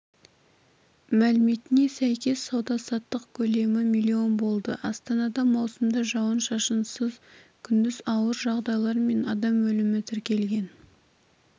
мәліметіне сәйкес сауда-саттық көлемі млн болды астанада маусымда жауын-шашынсыз күндіз ауыр жағдайлар мен адам өлімі тіркелген